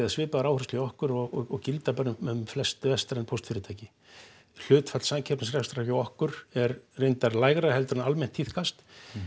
svipaðar áherslur hjá okkur og gilda bara um flest vestræn póstfyrirtæki hlutfall samkeppnisrekstrar hjá okkur er reyndar lægra en almennt tíðkast